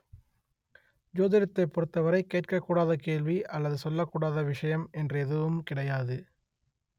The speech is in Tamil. ஜோதிடத்தைப் பொறுத்தவரை கேட்கக் கூடாத கேள்வி அல்லது சொல்லக் கூடாத விஷயம் என்று எதுவும் கிடையாது